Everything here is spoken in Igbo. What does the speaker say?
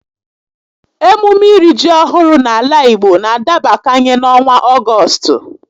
Emume iri ji ọhụrụ n'ala Igbo n'adabakanye n'ọnwa Ọgọstụ